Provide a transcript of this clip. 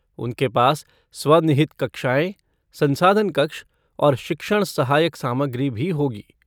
उनके पास स्व निहित कक्षाएँ, संसाधन कक्ष और शिक्षण सहायक सामग्री भी होगी।